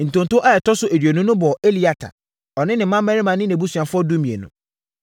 Ntonto a ɛtɔ so aduonu no bɔɔ Eliata, ɔne ne mmammarima ne nʼabusuafoɔ (12)